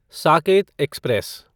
Saket express